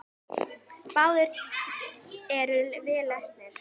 Báðir eru vel lesnir.